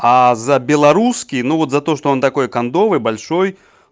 а за белорусский ну вот за то что он такой кондовый большой